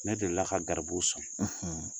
Ne delila ka garibuw sɔn